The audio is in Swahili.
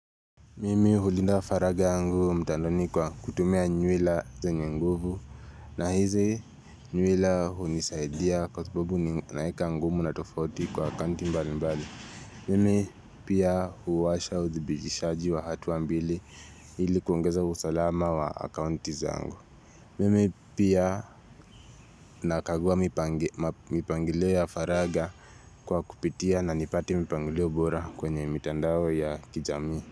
Mimi hulinda faraga yangu mtandaoni kwa kutumia nywila zenye nguvu na hizi nywila unisaidia kwa sababu naeka ngumu na tofauti kwa akaunti mbali mbali. Mimi pia huwasha udhibitishaji wa hatua mbili ili kuongeza usalama wa akanti zangu. Mimi pia nakagua mipangilio ya faraga kwa kupitia na nipate mipangilio bora kwenye mitandao ya kijamii.